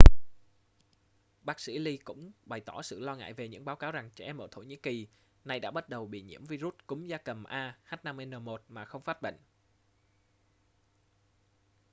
bác sĩ lee cũng bày tỏ sự lo ngại về những báo cáo rằng trẻ em ở thổ nhĩ kỳ nay đã bắt đầu bị nhiễm vi-rút cúm gia cầm a h5n1 mà không phát bệnh